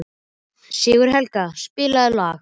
Sigurhelga, spilaðu lag.